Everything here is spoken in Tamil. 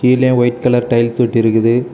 இதுல ஒயிட் கலர் டைல்ஸ் ஒட்டி இருக்குது.